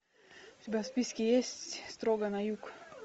у тебя в списке есть строго на юг